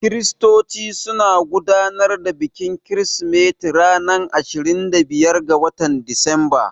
Kiristoci suna gudanar da bikin kirsimeti ranar ashirin da biyar ga watan Disamba.